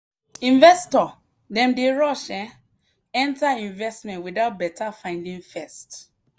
investor dem dey rush um enter investment without better finding first.